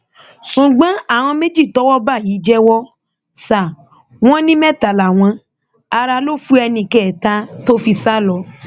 ṣùgbọn àwọn méjì tọwọ bá yìí jẹwọ sá wọn ní mẹta làwọn ará ló fu ẹnìkẹẹ̀ta tó fi sá lọ